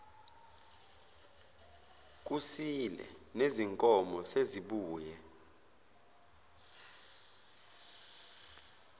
kusile nezinkomo sezibuye